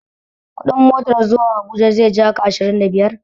Kuɗin motar zuwa habuja zai jaka ashirin da biyar